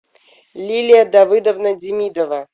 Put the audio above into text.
лилия давыдовна демидова